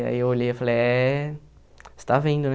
Aí eu olhei e falei, é... Você está vendo, né?